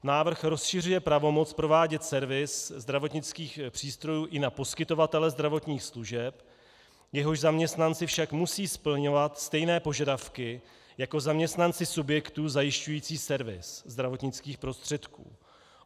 Návrh rozšiřuje pravomoc provádět servis zdravotnických přístrojů i na poskytovatele zdravotních služeb, jehož zaměstnanci však musí splňovat stejné požadavky jako zaměstnanci subjektů zajišťující servis zdravotnických prostředků.